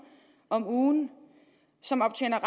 om ugen og som optjener